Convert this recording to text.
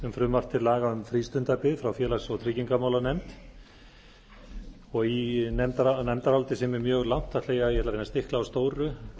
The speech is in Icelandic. um frístundabyggð frá félags og tryggingamálanefnd nefndarálitið er mjög langt og ég ætla að reyna að stikla á stóru